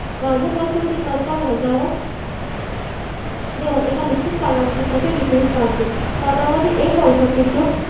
राजकोष होते सरकार वजावट जेव्हा एका निश्चित कालावधीसाठी विक्रीस काढते. कालावधी एक वर्षापेक्षा.